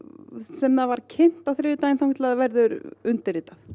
sem það var kynnt á þriðjudaginn og til það verður undirritað